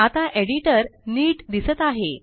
आता एडिटर नीट दिसत आहे